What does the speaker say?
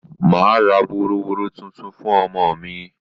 Mà á ra woroworo tuntun fún ọmọ mi